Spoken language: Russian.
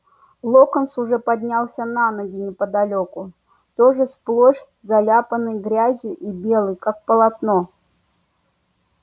локонс уже поднялся на ноги неподалёку тоже сплошь заляпанный грязью и белый как полотно